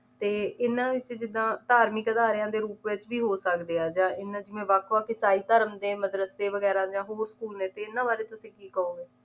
ਤੇ ਇਹਨਾਂ ਵਿੱਚ ਜਿਦਾਂ ਧਾਰਮਿਕ ਅਦਾਰਿਆਂ ਦੇ ਰੂਪ ਵਿੱਚ ਵੀ ਹੋ ਸਕਦੇ ਆ ਜਾਂ ਇਹਨਾਂ ਦੀ ਜਿਵੇਂ ਵੱਖ ਵੱਖ ਈਸਾਈ ਧਰਮ ਦੇ ਮਦਰਸੇ ਵਗੈਰਾ ਜਾਂ ਹੋਰ school ਨੇ ਇਹਨਾਂ ਬਾਰੇ ਤੁਸੀ ਕੀ ਕਹੋਗੇ